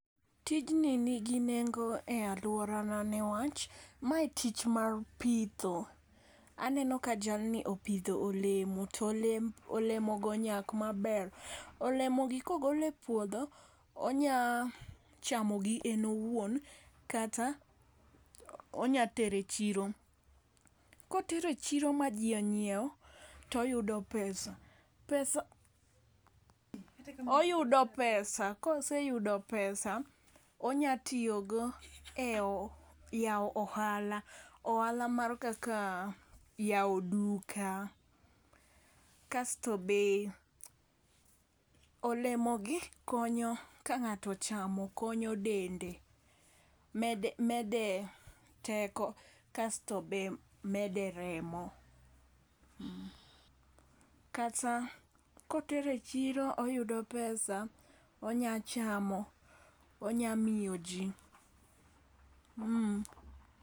Tijni nigi nengo e aluorana niwach ma tich mar pitho aneno ka jalni pidho olemo tolemo go onyak maber. Olemo go kogol e puodho tonya chamo gi en owuon kata onya tere chiro. Kotere chiro ma jii onyiewo toyudo pesa pesa oyudo koseyudo pesa onya tiyo go e oha e yawo ohala ohala mar kaka yawo duka. Kasto be olemo gi konyo ka ng'ato chamo konyo dende mede mede teko kasto be mede remo. Kata kotere chiro oyudo pesa onya chamo onya miyo jii.